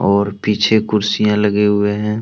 और पीछे कुर्सियां लगे हुए हैं।